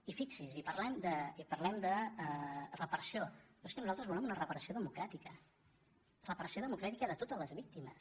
i fixi’s i parlem de reparació però és que nosaltres volem una reparació democràtica reparació democràtica de totes les víctimes